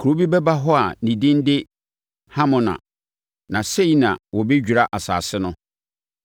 (Kuro bi bɛba hɔ a ne din de Hamona). Na sei na wɔbɛdwira asase no.’